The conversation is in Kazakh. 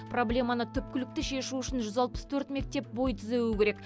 проблеманы түпкілікті шешу үшін жүз алпыс төрт мектеп бой түзеуі керек